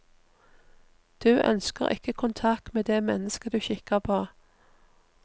Du ønsker ikke kontakt med det mennesket du kikker på.